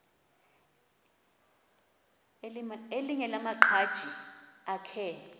elinye lamaqhaji akhe